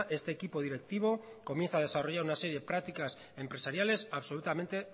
este equipo directivo comienza a desarrollar una serie prácticas empresariales absolutamente